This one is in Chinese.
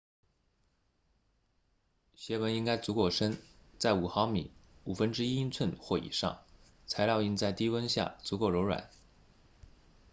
鞋纹应该足够深在5毫米 1/5 英寸或以上材料应在低温下足够柔软